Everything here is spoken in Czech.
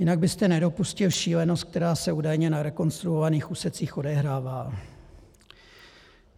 Jinak byste nedopustil šílenost, která se údajně na rekonstruovaných úsecích odehrává.